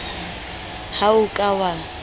ha o a ka wa